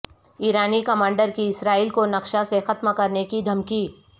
ایرانی کمانڈر کی اسرائیل کو نقشہ سے ختم کرنے کی دھمکی